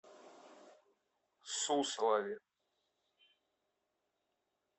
суслове